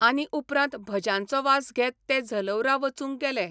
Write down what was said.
आनी उपरांत भज्यांचो वास घेत ते झलौरा वचूंक गेले.